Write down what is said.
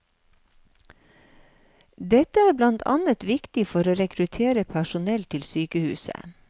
Dette er blant annet viktig for å rekruttere personell til sykehuset.